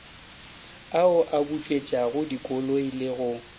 ao a bautswetšagodikoloi le go